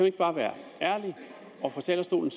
ikke bare være ærlige og fra talerstolen